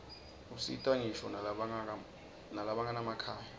usita ngisho nalabanganamakhaya